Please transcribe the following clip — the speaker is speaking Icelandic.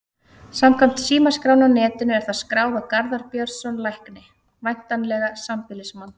Samkvæmt símaskránni á netinu er það skráð á Garðar Björnsson lækni, væntanlega sambýlismann